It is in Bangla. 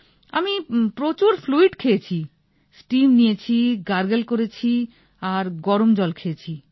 আমি প্রচুর ফ্লুইড খেয়েছি স্টিম নিয়েছি গার্গল করেছি আর গরম জল খেয়েছি